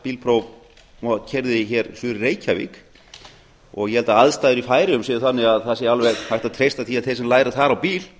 bílpróf og keyrði hér suður í reykjavík ég held að aðstæður í færeyjum séu þannig að það sé alveg hægt að treysta því að þeir sem læra þar á bíl